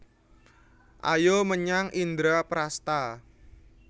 Ayo menyang Indraprasta